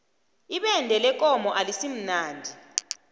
ibende lekomo alisimnandi